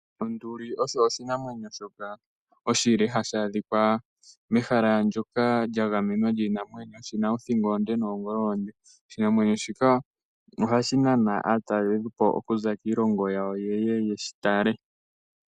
Onduli osho oshinamwenyo oshile shoka hashi adhika mehala ndoka lyagamenwa lyiinamwenyo shina othingo onde noongolo oonde. Oshinamwenyo shika ohashi nana aatalelipo okuza kiilongo yawo yeye yeshitale.